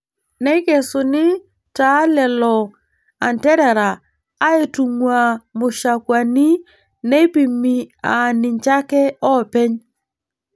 Neikesuni taa lelo anterera aaitung'waa mushakwani neipimi aa ninche ake oopeny.